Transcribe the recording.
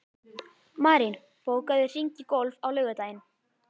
Marín, bókaðu hring í golf á laugardaginn.